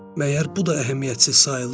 Məgər bu da əhəmiyyətsiz sayılır?